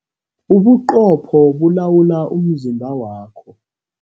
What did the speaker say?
Ubuqopho bulawula umzimba wakho.